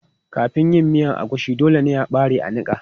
Kafin yin miya agushi, dole ne a ɓare a niƙa.